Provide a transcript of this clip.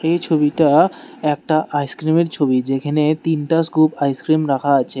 এই ছবিটা একটা আইস ক্রিম এর ছবি যেইখানে তিনটা স্কুপ আইস ক্রিম রাখা আছে।